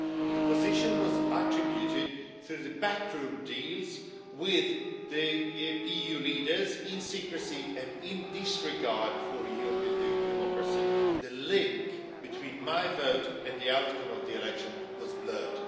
The position was attributed through backroom deals among the EU leaders, in secrecy, and in this regard for European democracy the link between my vote and the outcome of the election was blurred.